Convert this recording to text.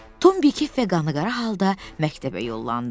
Tom bikef və qanıqara halda məktəbə yollandı.